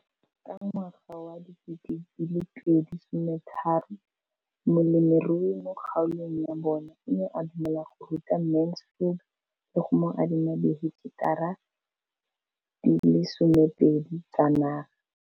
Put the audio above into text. Ka ngwaga wa 2013, molemirui mo kgaolong ya bona o ne a dumela go ruta Mansfield le go mo adima di heketara di le 12 tsa naga.